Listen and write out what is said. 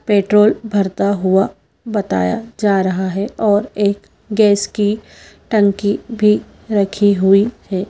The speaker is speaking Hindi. पेट्रोल भरता हुआ बताया जा रहा है और एक गैस की टंकी भी रखी हुई है।